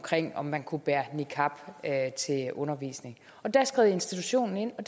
om man kunne bære niqab til undervisning der skred institutionen ind og